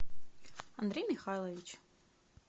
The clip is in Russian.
андрей михайлович